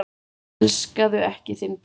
Elskaðu ekki þinn bróður.